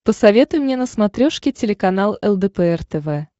посоветуй мне на смотрешке телеканал лдпр тв